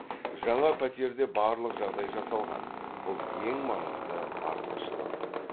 жаңа пәтерде барлық жағдай жасалған бұл ең маңызды артықшылық